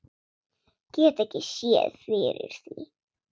Get ekki séð fyrir því.